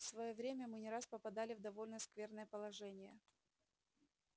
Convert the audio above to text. в своё время мы не раз попадали в довольно скверное положение